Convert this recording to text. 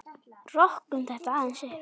Rokkum þetta aðeins upp!